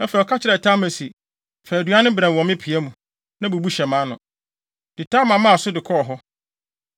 Afei, ɔka kyerɛɛ Tamar se, “Fa aduan no brɛ me wɔ me pia mu, na bubu hyɛ mʼano.” Enti Tamar maa so de kɔɔ hɔ.